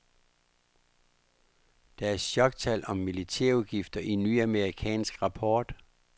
Der er choktal om militærudgifter i ny amerikansk rapport.